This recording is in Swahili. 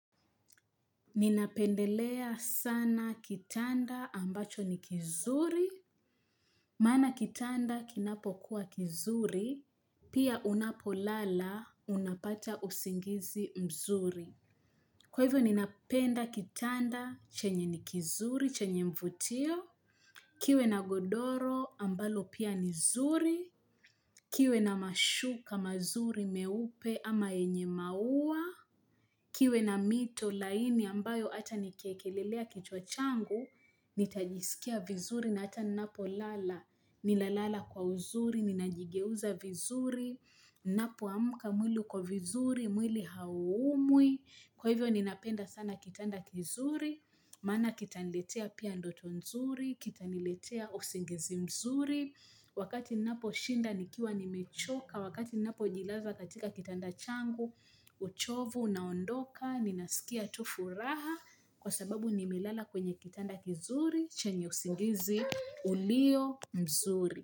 Ninapendelea sana kitanda ambacho ni kizuri naona kitanda kinapokuwa kizuri pia unapolala unapata usingizi mzuri. Kwa hivyo ninapenda kitanda chenye ni kizuri chenye mvutio, kiwe na godoro ambalo pia ni zuri, kiwe na mashu kama zuri meupe ama enye mauwa, kiwe na mito laini ambayo hata nikiekelelea kichwachangu, nitajisikia vizuri na hata ninapo nina lala kwa uzuri, ninajigeuza vizuri, napoamka mwili uko vizuri, mwili hauumwi. Kwa hivyo ninapenda sana kitanda kizuri maana kitaniletea pia ndoto mzuri, kitaniletea usingizi mzuri. Wakati ninaposhinda nikiwa nimechoka, wakati ninapojilaza katika kitanda changu uchovu unaondoka, ninaskia tu furaha kwa sababu nimelala kwenye kitanda kizuri chenye usingizi ulio mzuri.